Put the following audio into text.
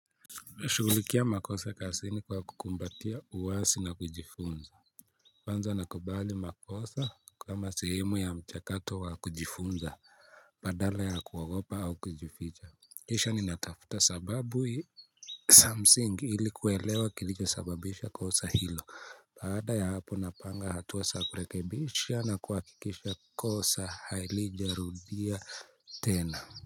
Shugulikia makosa kazini kwa kukumbatia uwazi na kujifunza. Kwanza nakubali makosa kama sehemu ya mchakato wa kujifunza. Badala ya kuogopa au kujificha kisha mi natatafuta sababu hii za msingi ili kuwelewa kilicho sababisha kosa hilo. Baada ya hapo napanga hatua za kurekebisha na kuhakikisha kosa halijarudia tena.